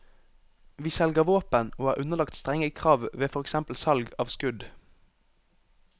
Vi selger våpen og er underlagt strenge krav ved for eksempel salg av skudd.